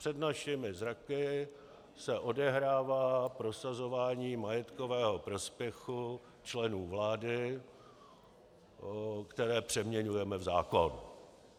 Před našimi zraky se odehrává prosazování majetkového prospěchu členů vlády, které přeměňujeme v zákon.